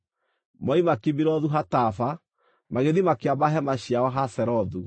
Moima Kibirothu-Hataava magĩthiĩ makĩamba hema ciao Hazerothu.